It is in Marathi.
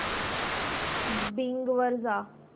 बिंग वर जा